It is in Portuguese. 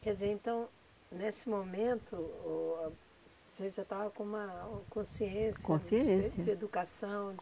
Quer dizer, então, nesse momento o você já estava com uma uma consciência, consciência, de educação?